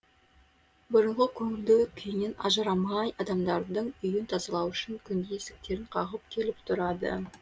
бұрынғы көңілді күйінен ажырамай адамдардың үйін тазалау үшін күнде есіктерін қағып келіп тұрады